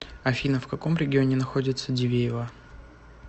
афина в каком регионе находится дивеево